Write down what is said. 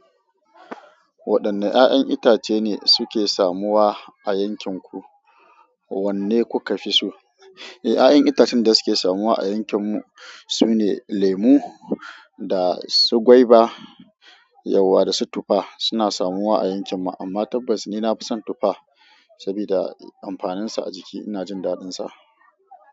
Waɗanne 'ya'yan itace ne suke samuwa a yankin ku? Wanne kuka fi so? Eh, 'ya'yan itacen da suke samuwa a yankin mu sune lemo da su gwaiba, yauwa da su tufa suna samuwa a yankin mu amma tabbas ni na fi son tufa sabida amfanin sa a jiki ina jin daɗin sa.